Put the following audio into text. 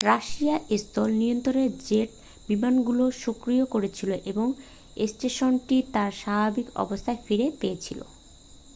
Russian স্থল নিয়ন্ত্রক jet বিমানগুলো সক্রিয় করেছিল এবং স্টেশনটি তার স্বাভাবিক অবস্থা ফিরে পেয়েছিল